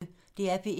DR P1